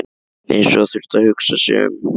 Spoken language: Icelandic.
Eins og hann þyrfti að hugsa sig um.